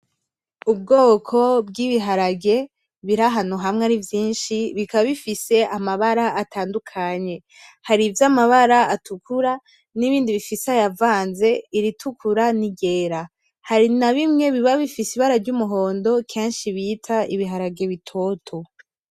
Ubwoko bw’ibiharage birahantu hamwe arivyinshi bikaba bifise amabara atandukanye. Hari ivyamabara atukura nibindi bifise ayavanze iritukura n’iryera. Hari nabimwe biba bifise ibara ry’umuhondo kenshi bita ibiharage bitoto.